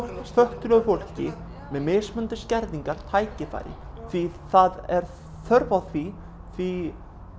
fötluðu fólki með mismunandi skerðingar tækifæri því það er þörf á því því